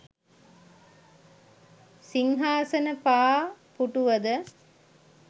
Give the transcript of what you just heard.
සිංහාසන පා පුටුවද